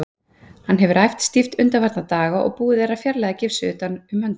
Hann hefur æft stíft undanfarna daga og búið er að fjarlæga gifsið utan um höndina.